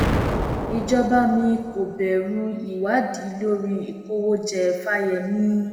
ìjọba mi kò bẹrù ìwádìí lórí ìkówójẹ fáyemí